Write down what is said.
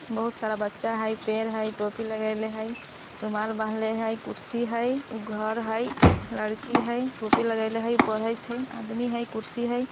बहुत सारा बच्चा हई पेड़ हई टोपी लगइले हई रूमाल बांधले हई कुर्सी हई घर हई लड़की हई टोपी लगइले हई पढइत हई आदमी हई कुर्सी हई --